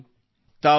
ಪ್ರೀತಿ ಹೌದು ಸರ್